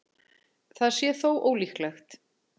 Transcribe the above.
Það sé þó ólíklegt